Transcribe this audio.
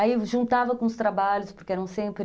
Aí, juntava com os trabalhos, porque eram sempre...